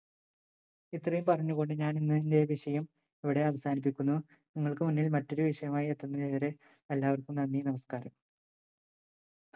ഇത്രയും പറഞ്ഞു കൊണ്ട് ഞാൻ ഇന്ന് എന്റെ വിഷയം ഇവിടെ അവസാനിപ്പിക്കുന്നു നിങ്ങൾക്കു മുന്നിൽ മറ്റൊരു വിഷയവുമായി എത്തുന്നവരെ എല്ലാവർക്കും നന്ദി നമസ്ക്കാരം